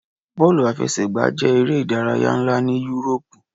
Bọọlu afẹsẹgba jẹ ere idaraya nla ni Yuroopu